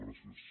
gràcies